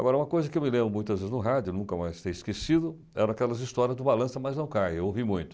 Agora, uma coisa que eu me lembro muitas vezes no rádio, nunca mais ter esquecido, eram aquelas histórias do Balança Mas Não Caia, eu ouvi muito.